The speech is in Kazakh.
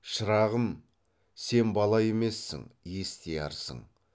шырағым сен бала емессің естиярсың